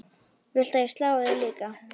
Viltu að ég slái þig líka?